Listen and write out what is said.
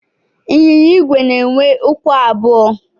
Ịnyịnya igwe na-enwe ụkwụ abụọ.